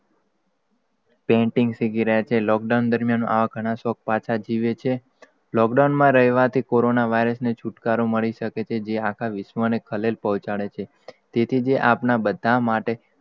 Painting સીખી રહયા છે. lockdown દરમ્યાન, આવા ઘણાં શોખ પાછા જીવે છે. lockdown માં રેહવાથી, કોરોના ને virus છુટકારો મળી જસે જે આખા વિશ્વ ને ખલીલ પોહચાડે છે તેથી તે આપડા બધાં જ માટે,